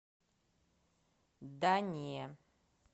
да не